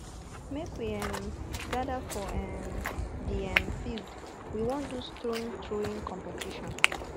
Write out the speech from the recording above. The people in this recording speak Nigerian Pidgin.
make we um gather for um di um field we wan do stone throwing competition